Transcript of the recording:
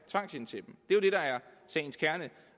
sagens kerne